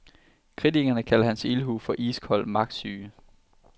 Kritikerne kalder hans ildhu for iskold magtsyge.